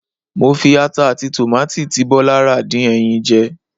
Mo fi ata àti tòmátì tí Bọ́lá rà dín ẹyin jẹ.